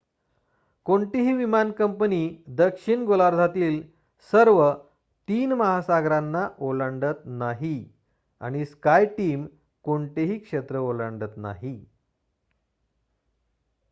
कोणतीही विमान कंपनी दक्षिण गोलार्धातील सर्व तीन महासागरांना ओलांडत नाही आणि स्काय टीम कोणतेही क्षेत्र ओलांडत नाही